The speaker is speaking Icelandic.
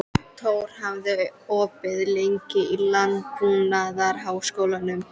Tór, hvað er opið lengi í Landbúnaðarháskólanum?